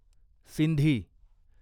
Sindhi